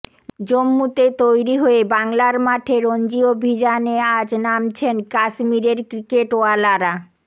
জম্মুতে তৈরি হয়ে বাংলার মাঠে রঞ্জি অভিযানে আজ নামছেন কাশ্মীরের ক্রিকেটওয়ালারা